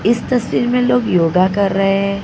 इस तस्वीर में लोग योगा कर रहे है।